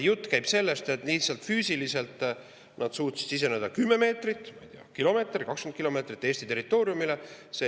Jutt käib sellest, et lihtsalt füüsiliselt suutsid siseneda kümne meetri, ma ei tea, kilomeetri, 20 kilomeetri kaugusele Eesti territooriumile.